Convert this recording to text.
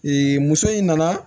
muso in nana